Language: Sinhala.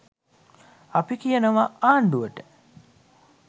අපි කියනවා ආණ්ඩුවට